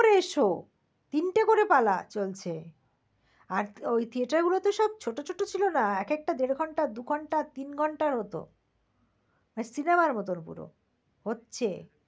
ওরে show তিনটে করে পালা চলছে, আর ওই theater গুলোতে সব ছোট ছোট ছিল না এক একটা দেড় ঘন্টা দুঘন্টা তিন ঘন্টার হত। cinema মত পুরো হচ্ছে